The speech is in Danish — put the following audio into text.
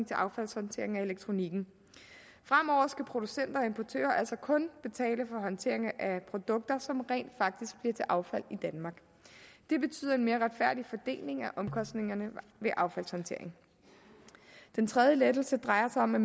til affaldshåndteringen af elektronikken fremover skal producenter og importører altså kun betale for håndteringen af produkter som rent faktisk bliver til affald i danmark det betyder en mere retfærdig fordeling af omkostningerne ved affaldshåndteringen den tredje lettelse drejer sig om at